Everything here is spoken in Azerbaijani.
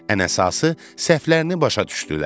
Ən əsası səhvlərini başa düşdülər.